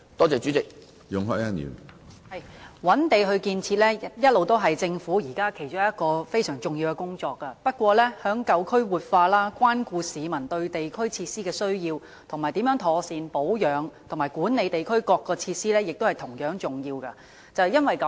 主席，覓地進行建設是政府其中一項重要工作，但舊區活化、關顧市民對地區設施的需要，以及妥善保養與管理各項地區設施也同樣重要。